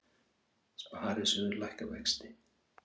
Sparisjóðir lækka vexti